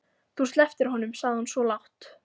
Þú slepptir honum, sagði hún svo lágt.